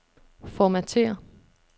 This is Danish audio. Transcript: Formatér.